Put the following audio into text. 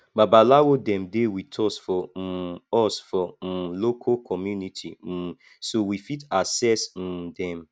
babalawo dem dey with us for um us for um local community um so we fit access um dem